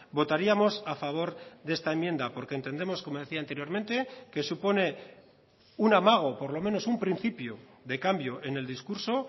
votaríamos a favor de esta enmienda porque entendemos como decía anteriormente que supone un amago por lo menos un principio de cambio en el discurso